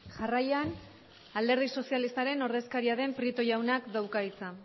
jarraian alderdi sozialistaren ordezkaria den prieto jaunak dauka hitza